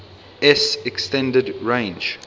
s extended range